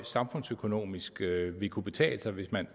samfundsøkonomisk vil kunne betale sig hvis man